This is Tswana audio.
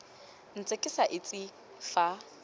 ntse ke sa itse fa